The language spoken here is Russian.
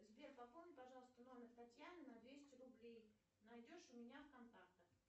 сбер пополни пожалуйста номер татьяны на двести рублей найдешь у меня в контактах